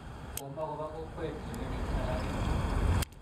Komakopo kokwet lewenik alake